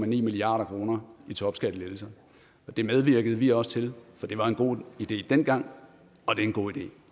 milliard kroner i topskattelettelser det medvirkede vi også til for det var en god idé dengang og det er en god